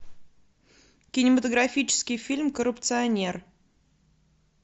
кинематографический фильм коррупционер